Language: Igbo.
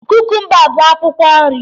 Kukumba bụ akwụkwọ nri.